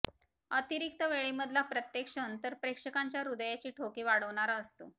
अतिरिक्त वेळेमधला प्रत्येक क्षण तर प्रेक्षकांच्या हृदयाचे ठोके वाढवणारा असतो